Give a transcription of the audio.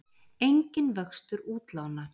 Enginn vöxtur útlána